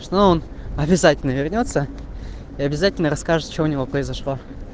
что он обязательно вернётся и обязательно расскажет что у него произошло